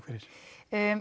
fyrir